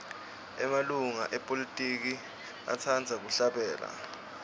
emalunga epolitiki atsqndza kuhlabela